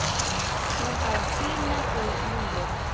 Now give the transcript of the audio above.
Hún á að sýna því lífið.